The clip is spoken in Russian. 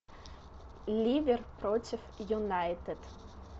ливер против юнайтед